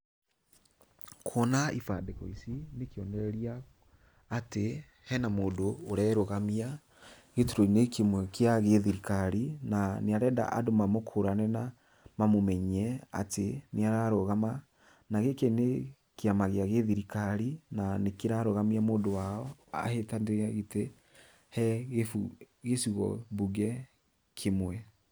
Kuona ibandĩko ici, nĩ kĩonereria atĩ hena mũndũ ũrerũgamia gĩturwa-inĩ kĩmwe kĩa thirikari na nĩ arenda andũ mamũkũrane na mamũmenye atĩ nĩararũgama, na gĩkĩ nĩ kĩama gĩa gĩthirikari, na nĩkĩrarũgamia mũndũ wao ahĩtanĩre gĩtĩ he gĩbu gĩcigo mbũnge kĩmwe.